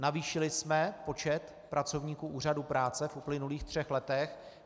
Navýšili jsme počet pracovníků Úřadu práce v uplynulých třech letech.